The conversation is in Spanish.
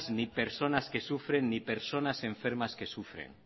ni personas que sufren ni personas enfermas que sufren